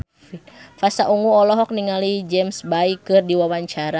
Pasha Ungu olohok ningali James Bay keur diwawancara